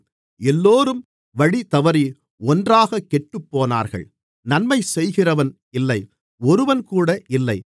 எல்லோரும் வழிதவறி ஒன்றாகக் கெட்டுப்போனார்கள் நன்மைசெய்கிறவன் இல்லை ஒருவன்கூட இல்லை